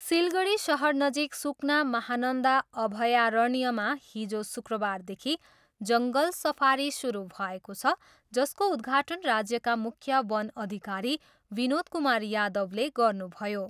सिलगढी सहरनजिक सुकना महानन्दा अभ्यारण्यमा हिजो शुक्रबारदेखि जङ्गल सफारी सुरु भएको छ, जसको उद्घाटन राज्यका मुख्य वन अधिकरी विनोद कुमार यादवले गर्नुभयो।